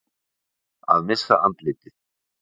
Að missa andlitið